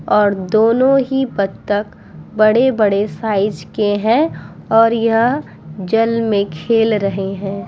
और दोनों ही बतख बड़े-बड़े साइज के हैं और यह जल में खेल रहे हैं।